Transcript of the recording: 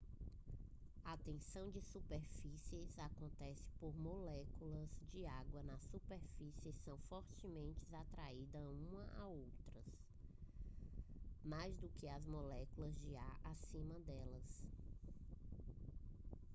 a tensão de superfície acontece porque as moléculas de água na superfície são fortemente atraídas umas as outras mais do que às moléculas de ar acima delas